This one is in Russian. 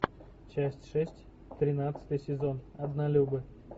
часть шесть тринадцатый сезон однолюбы